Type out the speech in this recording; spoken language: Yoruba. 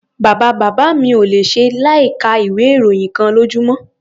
Bàbá-bàbá mi ò le ṣe láìka ìwé-ìròyìn kan lójúmọ́.